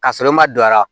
K'a sɔrɔ i ma don a la